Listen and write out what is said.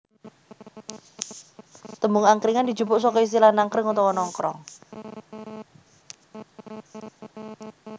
Tembung angkringan dijupuk saka istilah nangkring utawa nongkrong